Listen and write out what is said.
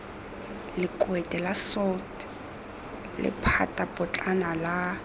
lekwete la salt lephatapotlana la